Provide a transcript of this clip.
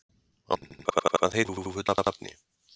Ástvin, hvað heitir þú fullu nafni?